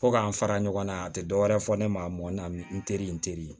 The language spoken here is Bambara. Fo ka an fara ɲɔgɔn kan a tɛ dɔwɛrɛ fɔ ne ma a mɔnna n teri in teri